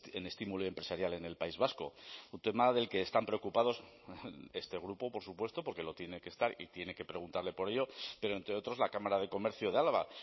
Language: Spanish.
en estímulo empresarial en el país vasco un tema del que están preocupados este grupo por supuesto porque lo tiene que estar y tiene que preguntarle por ello pero entre otros la cámara de comercio de álava